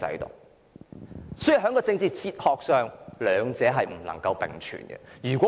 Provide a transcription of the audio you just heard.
因此，在政治哲學上，兩者不能並存。